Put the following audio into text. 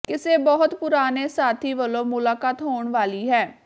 ਕਿਸੇ ਬਹੁਤ ਪੁਰਾਣੇ ਸਾਥੀ ਵਲੋਂ ਮੁਲਾਕਾਤ ਹੋਣ ਵਾਲੀ ਹੈ